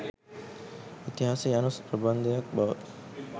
ඉතිහාසය යනු ප්‍රබන්ධයක් බව